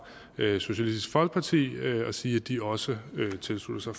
socialistisk folkeparti og sige at de også tilslutter